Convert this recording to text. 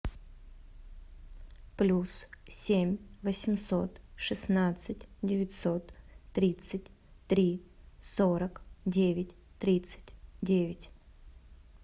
плюс семь восемьсот шестнадцать девятьсот тридцать три сорок девять тридцать девять